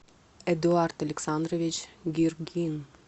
эдуард александрович гиргин